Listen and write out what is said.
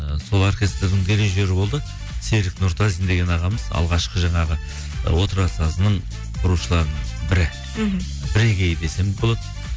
ы сол оркестрдің дирижеры болды серік нұртазин деген ағамыз алғашқы жаңағы ы отырар сазының құрушыларының бірі мхм бірегейі десем болады